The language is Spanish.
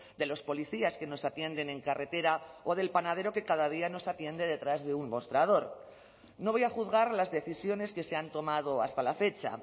de los policías que nos atienden en carretera o del panadero que cada día nos atiende detrás de un mostrador no voy a juzgar las decisiones que se han tomado hasta la fecha